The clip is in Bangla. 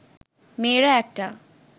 মেয়েরা একটা